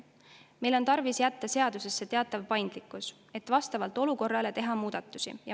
Meil on tarvis jätta seadusesse teatav paindlikkus, et vastavalt olukorrale saaks teha muudatusi.